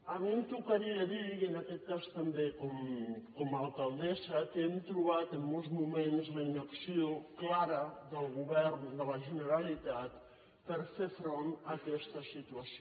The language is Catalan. a mi em tocaria dir i en aquest cas també com a alcaldessa que hem trobat en molts moments la inacció clara del govern de la generalitat per fer front a aquesta situació